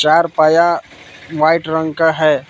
चार पाया वाइट रंग का है।